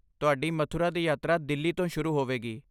ਤੁਹਾਡੀ ਮਥੁਰਾ ਦੀ ਯਾਤਰਾ ਦਿੱਲੀ ਤੋਂ ਸ਼ੁਰੂ ਹੋਵੇਗੀ।